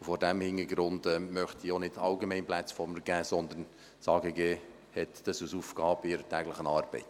Vor diesem Hintergrund möchte ich auch nicht Allgemeines von mir geben, sondern: Das AGG hat das als Aufgabe in seiner täglichen Arbeit.